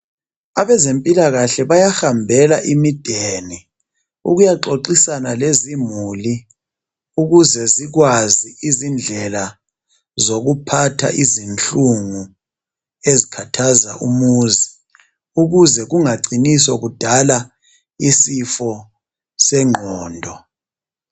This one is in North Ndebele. abezempilakahle bayahambela imideni ukuyaxoxisana lezimuli ukuze zikwazi izindlela zokuphatha izinhlungu ezikhathaza umuzi ukuze kungacini sokudala isifo senqondo